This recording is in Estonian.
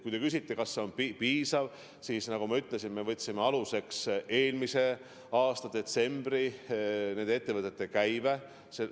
Kui te küsite, kas see on piisav, siis nagu ma ütlesin, me võtsime aluseks eelmise aasta detsembri käibe nendes ettevõtetes.